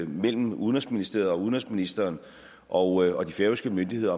mellem udenrigsministeriet og udenrigsministeren og de færøske myndigheder